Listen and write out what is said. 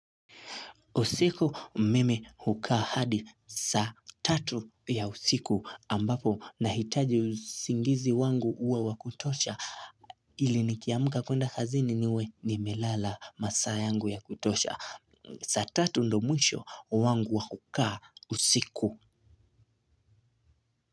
Usiku mimi hukaa hadi saa tatu ya usiku ambapo nahitaji usingizi wangu uwe wa kutosha ili nikiamka kwenda kazini niwe nimelala masaa yangu ya kutosha. Saa tatu ndo mwisho wangu wa kukaa usiku.